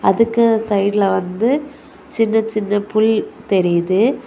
அதுக்கு சைடுல வந்து சின்ன சின்ன புல் தெரியுது.